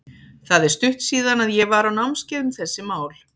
Það er stutt síðan að ég var á námskeiði um þessi mál.